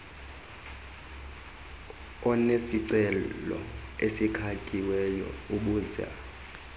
onesicelo esikhatyiweyo ubuza